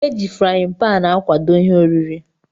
Eji frain pan akwado ihe oriri.